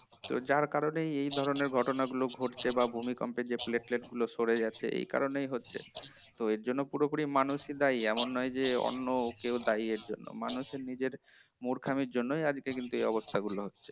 তো যার কারণে এই ধরনের ঘটনাগুলো ঘটছে বা ভূমিকম্পের plate plate গুলো সরে যাচ্ছে এই কারণেই হচ্ছে এর জন্য পুরোপুরি মানুষই দায়ী এমন নয় যে অন্য কেউ দায়ী এর জন্য মানুষের নিজের মূর্খামির জন্যই কিন্তু আজকের এই অবস্থা গুলো হচ্ছে